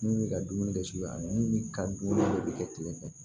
Min bɛ ka dumuni kɛ suya ni ka dumuni de bɛ kɛ tile fɛ